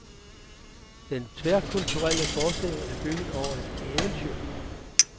Den tværkulturelle forestilling er bygget over et eventyr.